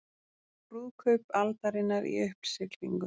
Brúðkaup aldarinnar í uppsiglingu